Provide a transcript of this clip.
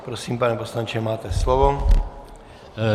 Prosím, pane poslanče, máte slovo.